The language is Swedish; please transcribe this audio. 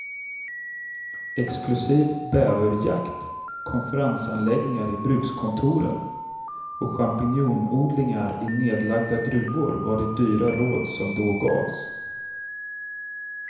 Exklusiv bäverjakt, konferensanläggningar i brukskontoren och champinjonodlingar i nedlagda gruvor var de dyra råd som då gavs.